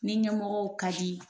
Ni ɲɛmɔgɔ ka di,